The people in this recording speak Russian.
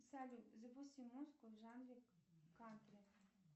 салют запусти музыку в жанре кантри